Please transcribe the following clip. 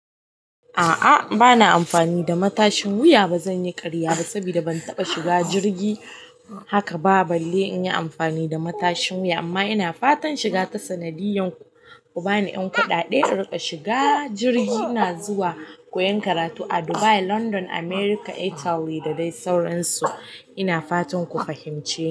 A'a bana amfani da matashin wuya ba zanyi karya ba saboda ban taɓa shiga jirgi haka ba balle inyi amfani da matashin wuya amma ina fatan shiga ta sanadiyan ku bani ɗan kaɗaɗe in riƙa shiga jirgi. Ina zuwa koyan karatu a Dubai, London, America, Italy da dai sauransu. Ina fatan ku fahimce ni.